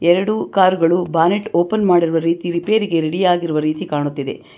ಎರಡು ಕಾರ್ ಗಳು bonnet open ಮಾಡಿರುವ ರೀತಿ ರಿಪೇರಿಗೆ ರೆಡಿ ಆಗಿರುವ ರೀತಿ ಕಾಣುತ್ತಿದೆ.